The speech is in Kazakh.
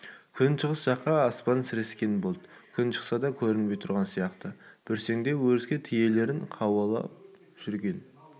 күншығыс жақ аспан сірескен бұлт күн шықса да көрінбей тұрған сияқты бүрсеңдеп өріске түйелерін қуалап жүрген